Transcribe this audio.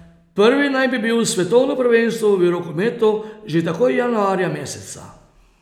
Prvi naj bi bil svetovno prvenstvo v rokometu že takoj januarja meseca.